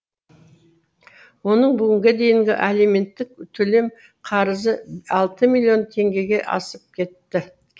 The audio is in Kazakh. оның бүгінге дейінгі алименттік төлем қарызы алты миллион теңгеге асып кетті